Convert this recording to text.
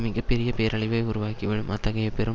மிக பெரிய பேரழிவை உருவாக்கிவிடும் அத்தகைய பெரும்